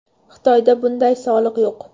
Xitoyda bunday soliq yo‘q.